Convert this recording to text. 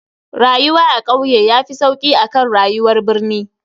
Rayuwa a kauye yafi sauki akan rayuwar birnin.